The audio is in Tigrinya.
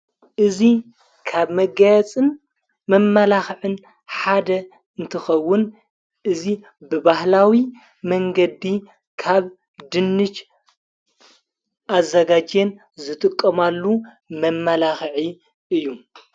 እዙይ ካብ መጋያፅን መመላኽዕን ሓደ እንትኸውን እዙይ ብባህላዊ መንገዲ ካብ ድንች ኣዘጋጄን ዘጥቆማሉ መመላኽዒ እዩ።